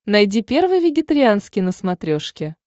найди первый вегетарианский на смотрешке